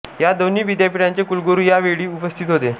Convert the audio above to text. या दोन्ही विद्यापीठांचे कुलगुरू या वेळी उपस्थित होते